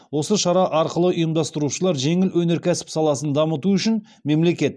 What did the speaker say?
осы шара арқылы ұйымдастырушылар жеңіл өнеркәсіп саласын дамыту үшін мемлекет